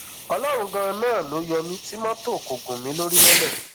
ọlọrun ganan ló yọ mí tí mọtò kò gún mi lórí mọlẹ